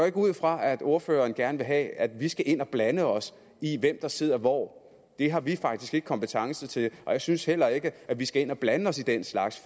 ikke ud fra at ordføreren gerne vil have at vi skal ind og blande os i hvem der sidder hvor det har vi faktisk ikke kompetence til og jeg synes heller ikke at vi skal ind og blande os i den slags